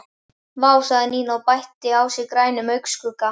Vá sagði Nína og bætti á sig grænum augnskugga.